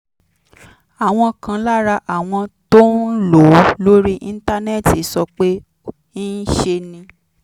àwọn kan lára àwọn tó ń lò ó lórí íńtánẹ́ẹ̀tì sọ pé ńṣe ni